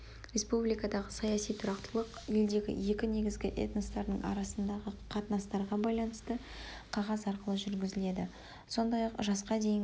республикадағы саяси тұрақтылық елдегі екі негізгі этностардың арасындағы қатынастарға байланысты қағаз арқылы жүргізіледі сондай-ақ жасқа дейінгі